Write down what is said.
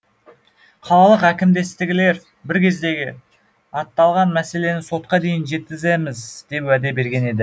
қалалық әкімдіктегілер бір кездері аталған мәселені сотқа дейін жеткіземіз деп уәде берген еді